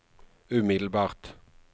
umiddelbart